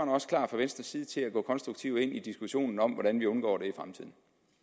også klar fra venstres side til at gå konstruktivt ind i diskussionen om hvordan vi undgår